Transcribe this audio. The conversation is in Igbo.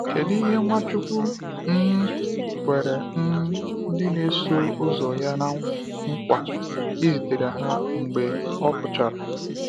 Kedu ihe Nwachukwu um kwere um ndị na -eso ụzọ ya na-nkwa izitere ha mgbe ọ pụchara?